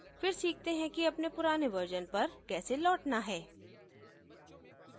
फिर सीखते हैं कि अपने पुराने version पर कैसे लौटना है